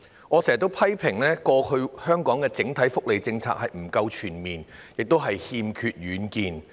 我經常批評香港過往的整體福利政策不夠全面，亦欠缺遠見。